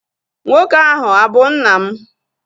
Nwoke ahụ abụ nna m?